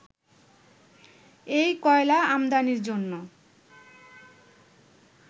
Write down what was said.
এই কয়লা আমদানির জন্য